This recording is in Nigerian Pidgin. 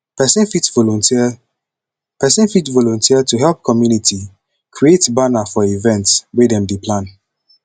person fit volunteer person fit volunteer to help community create banner for event wey dem dey plan